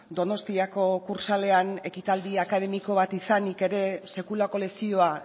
donostiako kursaalean ekitaldi akademiko bat izanik ere sekulako lezioa